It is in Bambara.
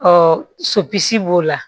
Ɔ sopisi b'o la